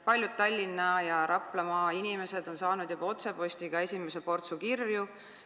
Paljud Tallinna ja Raplamaa inimesed on juba otsepostiga esimese portsu kirju saanud.